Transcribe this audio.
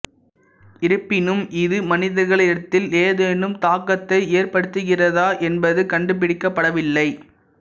இருப்பினும் இது மனிதர்களிடத்தில் ஏதேனும் தாக்கத்தை ஏற்படுத்துகிறதா என்பது கண்டுபிடிக்கப்படவில்லை